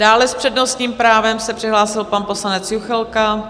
Dále s přednostním právem se přihlásil pan poslanec Juchelka.